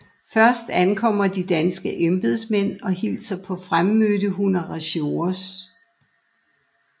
Først ankommer de danske embedsmænd og hilser på fremmødte honoratiores